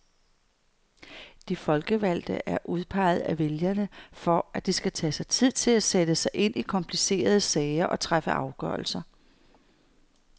De folkevalgte er udpeget af vælgerne for at de skal tage sig tid til at sætte sig ind i komplicerede sager og træffe afgørelser.